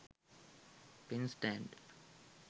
pen stand